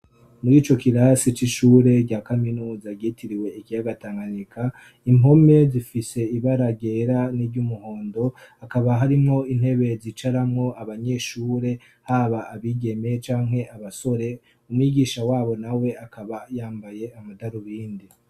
Muri ico kirasi c'ishure rya kaminuza ryitiriwe ikiyaga Tanganyika, impome zifise ibara ryera niry'umuhondo, hakaba harimwo intebe zicaramwo abanyeshure, haba abigeme canke abasore, umwigisha w'abo nawe akaba yambaye amadarubindi.